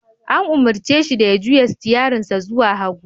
An umarce shi da ya juya sitiyarinsa zuwa hagu.